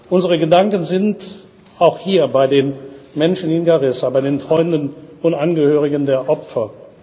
Unsere Gedanken sind auch hier bei den Menschen in Garissa, bei den Freunden und Angehörigen der Opfer.